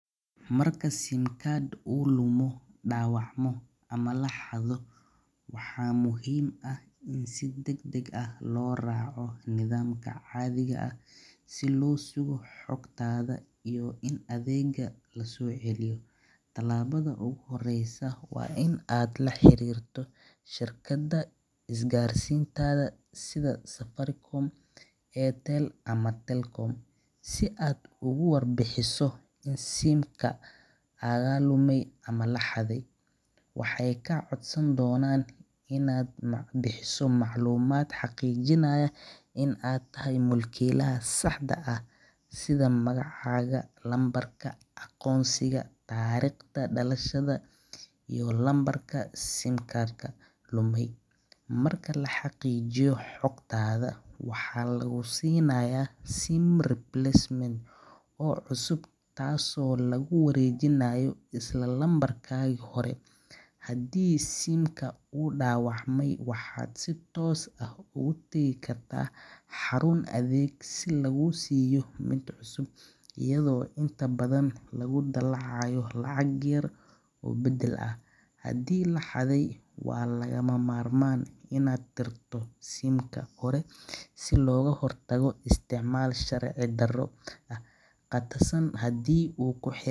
Marka siim uu lumo ama laxado, waxaa la raaca nidaam caadi ah, waa in aa la xariirta shirkada is gaarsiinta, waxeey kaa codsan doonan in aad bixiso war bixin, marka la xaqiijiyo waxaa lagu sinaa mid cusub, hadii uu dawacme waxaa laguesiina mid cusub, hadii laxade waa lagama marmaan, hadii uu xeelad.